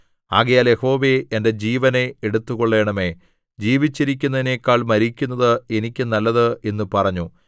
ആകയാൽ യഹോവേ എന്റെ ജീവനെ എടുത്തുകൊള്ളേണമേ ജീവിച്ചിരിക്കുന്നതിനെക്കാൾ മരിക്കുന്നത് എനിക്ക് നല്ലത് എന്നു പറഞ്ഞു